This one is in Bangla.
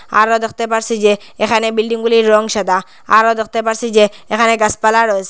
আরো দেখতে পারসি যে এখানে বিল্ডিং -গুলির রং সাদা আরো দেখতে পারসি যে এখানে গাছপালা রয়েসে।